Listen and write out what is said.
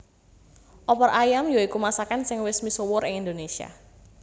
Opor ayam ya iku masakan sing wis misuwur ing Indonésia